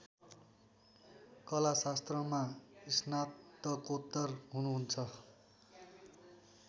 कलाशास्त्रमा स्नातकोत्तर हुनुहुन्छ